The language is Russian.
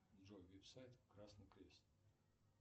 джой веб сайт красный крест